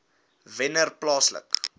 wennerplaaslike